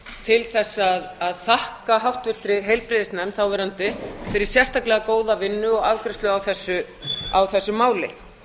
til að þakka háttvirtum þáverandi heilbrigðisnefnd fyrir sérstaklega góða vinnu og afgreiðslu á þessu máli